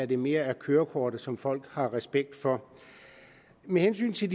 det mere er kørekortet som folk har respekt for med hensyn til